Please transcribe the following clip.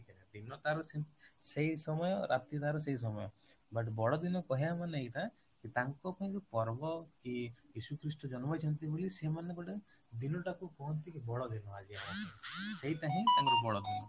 ଦିନ ତାର ସେଇ ସମୟ ରାତି ତାର ସେଇ ସମୟ but ବଡ଼ଦିନ କହିବା ମାନେ ଏଇଟା କି ତାଙ୍କ ପାଇଁ ଯୋଉ ପର୍ବ କି ଯୀଶୁଖ୍ରୀଷ୍ଟ ଜନ୍ମ ହେଇଛନ୍ତି ବୋଲି ସେମାନେ ଗୋଟେ ଦିନଟାକୁ କୁହନ୍ତି ବଡ଼ଦିନ ଆଜି ଆମର ସେଇଟା ହିଁ ବଡ ଦିନ